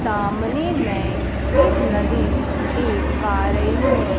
सामने मैं एक नदी देख पा रही हूं।